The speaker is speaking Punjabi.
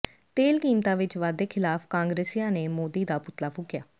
ਤੇਲ ਕੀਮਤਾਂ ਵਿੱਚ ਵਾਧੇ ਖ਼ਿਲਾਫ਼ ਕਾਂਗਰਸੀਆਂ ਨੇ ਮੋਦੀ ਦਾ ਪੁਤਲਾ ਫੂਕਿਆ